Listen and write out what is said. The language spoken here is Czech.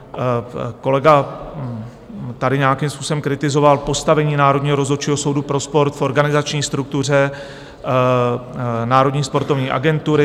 Kolega tady nějakým způsobem kritizoval postavení Národního rozhodčího soudu pro sport v organizační struktuře Národní sportovní agentury.